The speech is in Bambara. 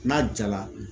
N'a jala